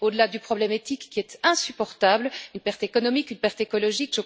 Au delà du problème éthique qui est insupportable, une perte économique, une perte écologique.